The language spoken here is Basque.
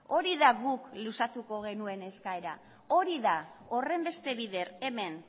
hori da guk luzatuko genuen eskaera hori da horrenbeste bider hemen